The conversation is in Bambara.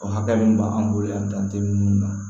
O hakɛ min b'an bolo yan dantɛ mun na